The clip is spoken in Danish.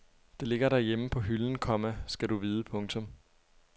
Det ligger derhjemme på hylden, komma skal du vide. punktum